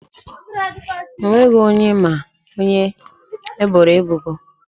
O nweghị onye ma onye eboro ebubo.